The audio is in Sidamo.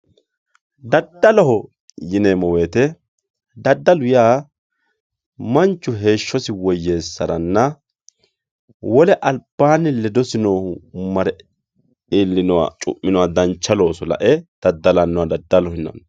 Dadaloho yinemo woyite dadalu manchu heeshosi woyesarana wole albaani ledosi noohu mare iilinowa cuminowa dancha looso lae dadalanoha dadaloho yinani.